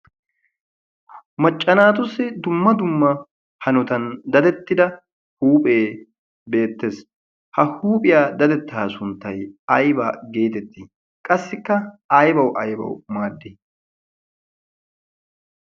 macca naatussi dumma dumma hanotan dadetida huuphee beetees, ha huuphiya dadetaa suntay ayba geetettiii? qassiikka aybawu aybawu maadii?